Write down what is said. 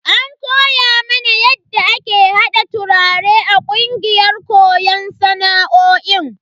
An koya mana yadda ake hada turare a kungiyar koyon sana'o'in.